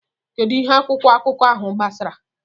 Kedu ihe akwụkwọ akụkọ ahụ gbasara?